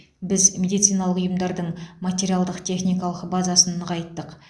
біз медициналық ұйымдардың материалдық техникалық базасын нығайттық